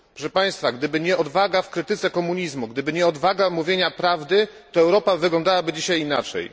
Proszę państwa, gdyby nie odwaga w krytyce komunizmu, gdyby nie odwaga mówienia prawdy, to Europa wyglądałaby dzisiaj inaczej.